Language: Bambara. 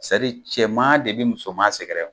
cɛman de bi musoman sɛgɛrɛ